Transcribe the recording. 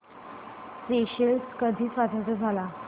Seychelles कधी स्वतंत्र झाला